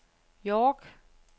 York